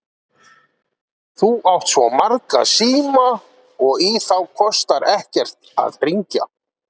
Þú átt svo marga síma og í þá kostar ekkert að hringja.